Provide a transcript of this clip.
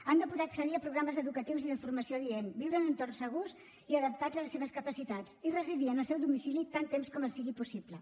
han de poder accedir a programes educatius i de formació adient viure en entorns segurs i adaptats a les seves capacitats i residir en el seu domicili tant temps com els sigui possible